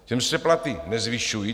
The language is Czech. Těm se platy nezvyšují.